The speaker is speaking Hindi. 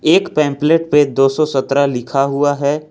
एक पेंपलेट पे दो सौ सत्रह लिखा हुआ है।